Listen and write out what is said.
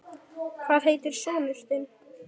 Hvað heitir sonur þinn?